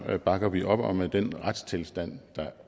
bakker vi op om at den retstilstand der er